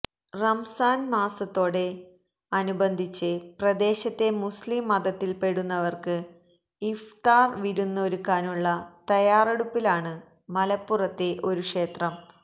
റംസാന് മാസത്തോട് അനുബന്ധിച്ച് പ്രദേശത്തെ മുസ്ലീം മതത്തില്പ്പെടുന്നവര്ക്ക് ഇഫ്താര് വിരുന്ന് ഒരുക്കാനുള്ള തയാറെടുപ്പിലാണ് മലപ്പുറത്തെ ഒരു ക്ഷേത്രം